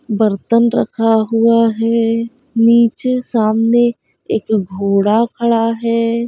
बर्तन रखा हुआ है नीचे सामने एक घोड़ा खड़ा है।